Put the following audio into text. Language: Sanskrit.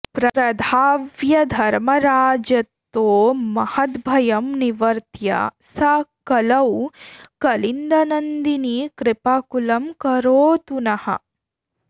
प्रधाव्य धर्मराजतो महद्भयं निवर्त्य सा कलौ कलिन्दनन्दिनी कृपाकुलं करोतु नः